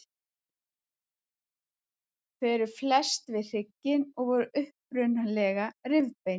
Þau eru fest við hrygginn og voru upprunalega rifbein.